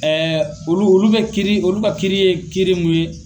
olu olu bɛ kiiri olu ka kiiri ye kiiri mun ye